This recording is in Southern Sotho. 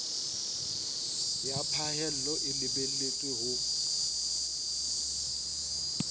ya phahello e lebelletswe ho